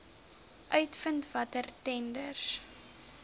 uitvind watter tenders